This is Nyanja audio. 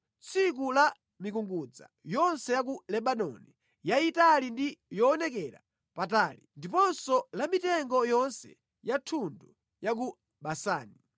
tsiku la mikungudza yonse ya ku Lebanoni, yayitali ndi yoonekera patali, ndiponso la mitengo yonse ya thundu ya ku Basani,